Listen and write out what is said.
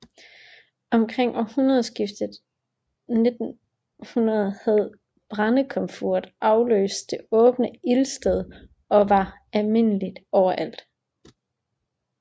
Omkring århundredeskiftet 1900 havde brændekomfuret afløst det åbne ildsted og var almindeligt overalt